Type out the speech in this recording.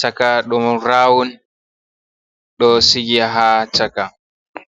chaka don rawun do sigi ha chaka.